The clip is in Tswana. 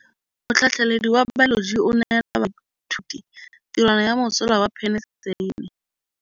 Motlhatlhaledi wa baeloji o neela baithuti tirwana ya mosola wa peniselene.